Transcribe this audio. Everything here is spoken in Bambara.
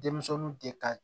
Denmisɛnninw de ka